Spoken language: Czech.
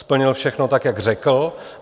Splnil všechno tak, jak řekl.